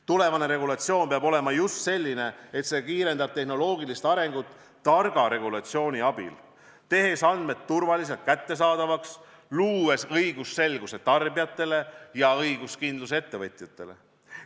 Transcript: Tulevane regulatsioon peab olema just selline, et see kiirendab tehnoloogilist arengut targa regulatsiooni abil, tehes andmed turvaliselt kättesaadavaks, luues õigusselguse tarbijatele ja õiguskindluse ettevõtjatele.